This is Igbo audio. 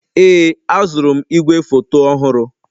Ee, azụrụ m igwefoto ọhụrụ.